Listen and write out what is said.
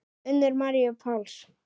Unu Maríu Páls.